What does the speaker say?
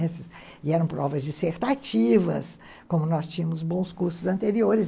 E eram provas dissertativas, como nós tínhamos bons cursos anteriores.